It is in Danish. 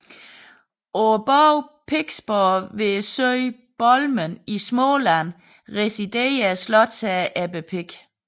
På borgen Piksborg ved søen Bolmen i Småland residerede slotsherren Ebbe Pik